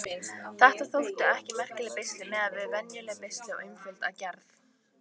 Þetta þóttu ekki merkileg beisli miðað við venjuleg beisli og einföld að gerð.